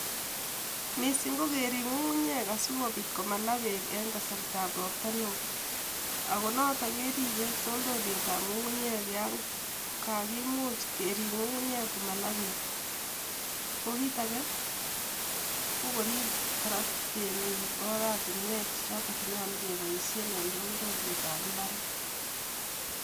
mising kokerip ngungunyek asikopit komala peek eng kasartab ropta neo ak noto keripe toltolietab ngungunyek ako much kerip ngungunyek komala peek kokit ake kokorip kora temik oratinwek chenyolu kepoishen eng toltolietab imbaret.